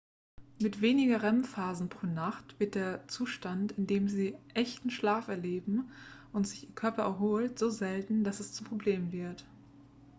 mit weniger rem-phasen pro nacht wird der zustand in dem sie echten schlaf erleben und sich ihr körper erholt so selten dass es zum problem wird